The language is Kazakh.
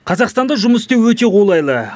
қазақстанда жұмыс істеу өте қолайлы